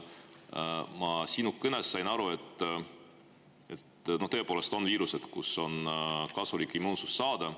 Ma sinu kõnest sain aru, et tõepoolest on viirused, mille puhul on kasulik immuunsus saada.